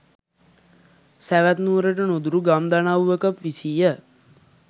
සැවැත් නුවරට නුදුරු ගම් දනව්වක විසීය.